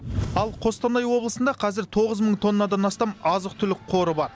ал қостанай облысында қазір тоғыз мың тоннадан астам азық түлік қоры бар